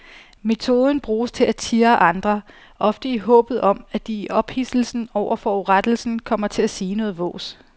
Metoden bruges til at tirre andre, ofte i håbet om at de i ophidselsen over forurettelsen kommer til at sige noget vås.